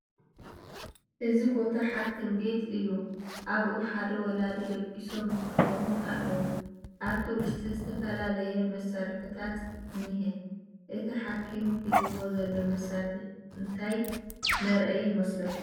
እዚ ቦታ ሓኪም ቤት እዩ ኣብኡ ሓደ ወላዲ ደቒሶም ይሕክሙ ኣሎዉ ኣብቲ ውሽጢ ዝተፈላለየ መሳርሕታት እንሄ ፡ እቲ ሓኪም ሒዝዎ ዘሎ መሳርሒ እንታይ መርኣይ ይመስለኩም ?